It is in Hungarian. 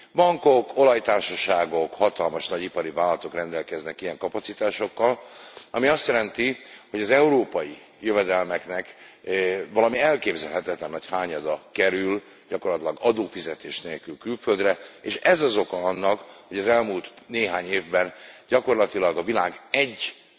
Bankok, olajtársaságok, hatalmas nagy ipari vállalatok rendelkeznek ilyen kapacitásokkal, ami azt jelenti, hogy az európai jövedelmeknek valami elképzelhetetlen nagy hányada kerül gyakorlatilag adófizetés nélkül külföldre, és ez az oka annak, hogy az elmúlt néhány évben gyakorlatilag a világ 1